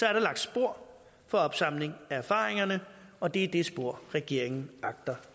er der lagt spor for opsamling af erfaringerne og det er det spor regeringen agter